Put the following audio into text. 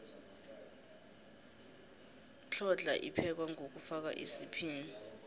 hlhodlna iphekwa ngokufoka isiphila